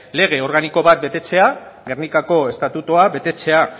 lege organiko bat betetzea gernikako estatutua betetzea